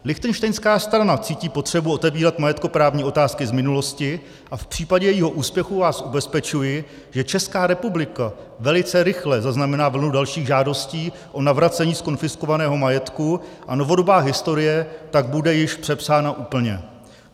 Lichtenštejnská strana cítí potřebu otevírat majetkoprávní otázky z minulosti a v případě jejího úspěchu vás ubezpečuji, že Česká republika velice rychle zaznamená vlnu dalších žádostí o navracení zkonfiskovaného majetku a novodobá historie tak bude již přepsána úplně.